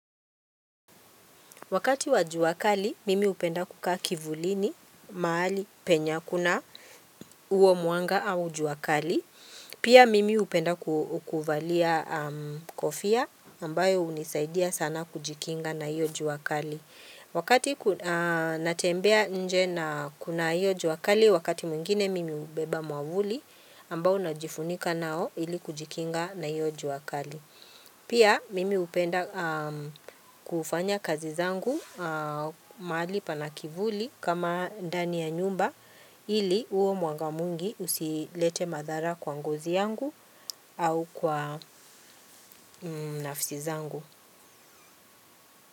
Wakati wa jua kali, mimi hupenda kukaa kivulini, mahali, penye, hakuna huo mwanga au jua kali. Pia mimi hupenda kuvalia kofia ambayo hunisaidia sana kujikinga na hiyo jua kali. Wakati natembea nje na kuna hiyo jua kali, wakati mwingine mimi hubeba mwavuli ambayo najifunika nao ili kujikinga na hiyo jua kali. Pia mimi hupenda kufanya kazi zangu mahali pana kivuli kama ndani ya nyumba ili huo mwanga mwingi usilete madhara kwa ngozi yangu au kwa nafsi zangu.